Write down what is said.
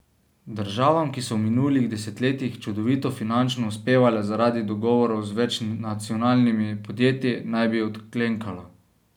Državam, ki so v minulih desetletjih čudovito finančno uspevale zaradi dogovorov z večnacionalnimi podjetji, naj bi odklenkalo.